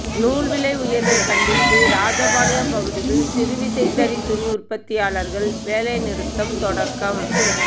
நூல் விலை உயா்வைக் கண்டித்து ராஜபாளையம் பகுதியில் சிறுவிசைத்தறி துணிஉற்பத்தியாளா்கள் வேலை நிறுத்தம் தொடக்கம்